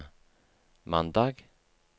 mandag